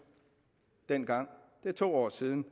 dengang det er to år siden